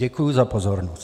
Děkuji za pozornost.